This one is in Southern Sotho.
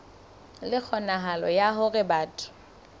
le kgonahalo ya hore batho